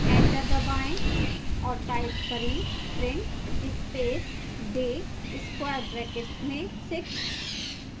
enter दबाएं और type करें print space day square brackets में 6